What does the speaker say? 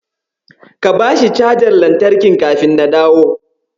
Ka bashi cajar lantarkin kafin na dawo.